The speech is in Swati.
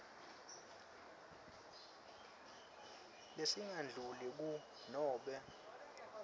lesingadluli kur nobe